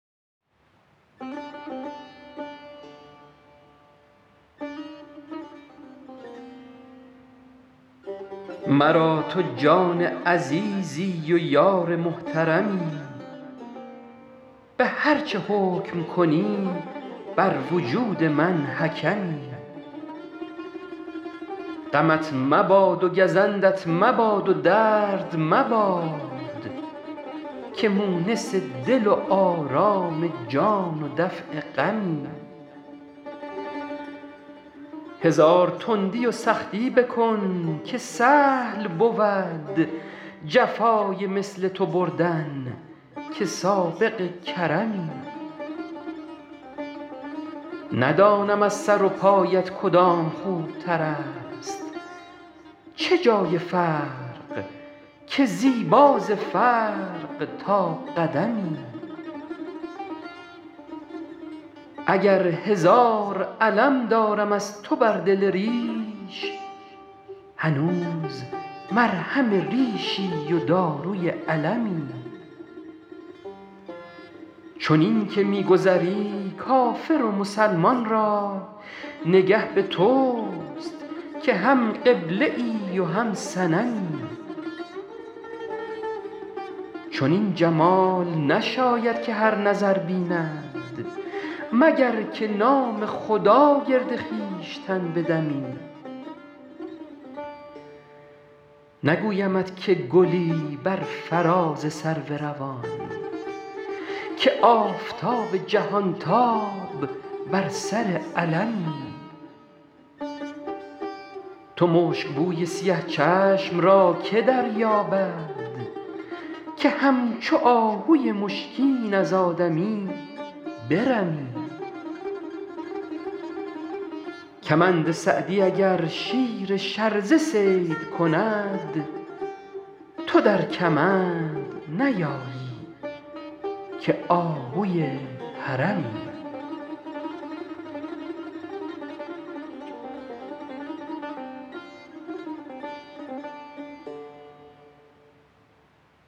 مرا تو جان عزیزی و یار محترمی به هر چه حکم کنی بر وجود من حکمی غمت مباد و گزندت مباد و درد مباد که مونس دل و آرام جان و دفع غمی هزار تندی و سختی بکن که سهل بود جفای مثل تو بردن که سابق کرمی ندانم از سر و پایت کدام خوبتر است چه جای فرق که زیبا ز فرق تا قدمی اگر هزار الم دارم از تو بر دل ریش هنوز مرهم ریشی و داروی المی چنین که می گذری کافر و مسلمان را نگه به توست که هم قبله ای و هم صنمی چنین جمال نشاید که هر نظر بیند مگر که نام خدا گرد خویشتن بدمی نگویمت که گلی بر فراز سرو روان که آفتاب جهانتاب بر سر علمی تو مشکبوی سیه چشم را که دریابد که همچو آهوی مشکین از آدمی برمی کمند سعدی اگر شیر شرزه صید کند تو در کمند نیایی که آهوی حرمی